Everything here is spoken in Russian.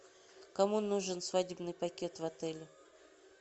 кому нужен свадебный пакет в отеле